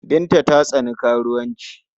Binta ta tsani karuwanci.